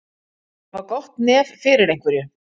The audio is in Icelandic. Að hafa gott nef fyrir einhverju